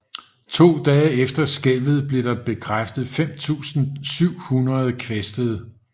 To dage efter skælvet blev der bekræftet 5700 kvæstede